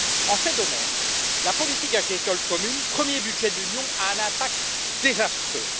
En ces domaines, la politique agricole commune, premier budget de l'Union, a un impact désastreux.